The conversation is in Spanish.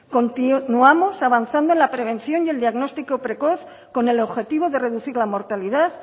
continuamos avanzando en la prevención y el diagnóstico precoz con el objetivo de reducir la mortalidad